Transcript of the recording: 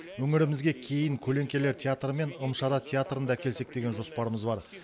өңірімізге кейін көлеңкелер театры мен ым шара театрын да әкелсек деген жоспарымыз бар